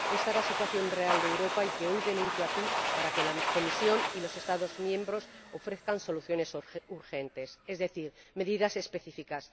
Esta es la situación real de Europa, que hoy denuncio aquí para que la Comisión y los Estados miembros ofrezcan soluciones urgentes, es decir, medidas específicas.